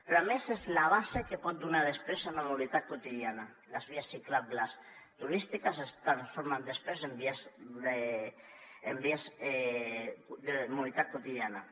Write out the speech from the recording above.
però a més és la base que pot donar després una mobilitat quotidiana les vies ciclables turístiques es transformen després en vies de mobilitat quotidiana